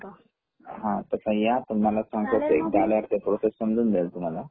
तस या तुम्हाला समजून जाईल तुम्हाला